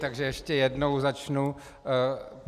Takže ještě jednou začnu.